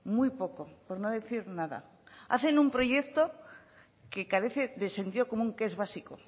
muy poco por no decir nada hacen un proyecto que carece de sentido común que es básico